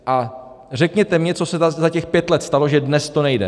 A řekněte mně, co se za těch pět let stalo, že dnes to nejde.